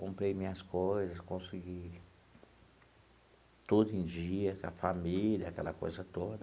Comprei minhas coisas, consegui tudo em dia, com a família, aquela coisa toda.